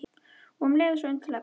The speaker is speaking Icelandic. Og um leið svo undarlega gott.